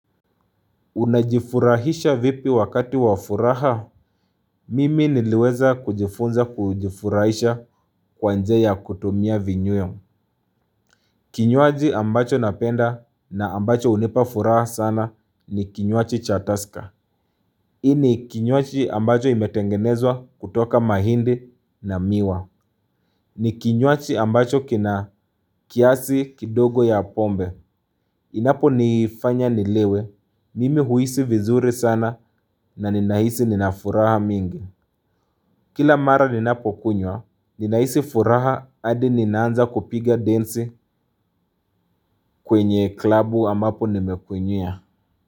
Unajifurahisha vipi wakati wa furaha? Mimi niliweza kujifunza kujifurahisha kwa njia ya kutumia vinyweo. Kinywaji ambacho napenda na ambacho hunipa furaha sana ni kinywaji cha tusker. Hii ni kinywaji ambacho imetengenezwa kutoka mahindi na miwa. Ni kinyuachi ambacho kina kiasi kidogo ya pombe. Inaponifanya nilewe, mimi huhisi vizuri sana na ninahisi nina furaha mingi. Kila mara ninapokunywa, ninahisi furaha hadi ninaanza kupiga densi kwenye klabu ambapo nimekunywia.